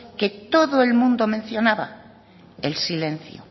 que todo el mundo mencionaba el silencio